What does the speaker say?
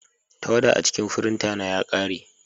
Tawada a cikin firinta na ya ƙare.